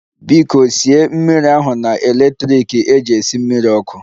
Biko sie mmiri ahu na electrik eji esi mmiri ọkụ